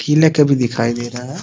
किला का भी दिखाई दे रहा है ।